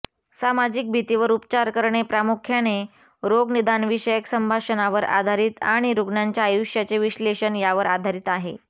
सामाजिक भीतीवर उपचार करणे प्रामुख्याने रोगनिदानविषयक संभाषणावर आधारित आणि रुग्णाच्या आयुष्याचे विश्लेषण यावर आधारित आहे